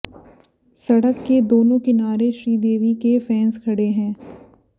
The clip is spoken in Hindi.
सड़क के दोनों किनारे श्रीदेवी के फैंस खड़े हैं